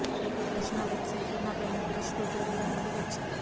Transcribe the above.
paint brush నా web సైట్లో నా పెయింట్ బ్రష్ ట్యుటోరియల్ నుండి వచ్చింది